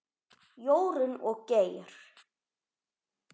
Jórunn og Geir.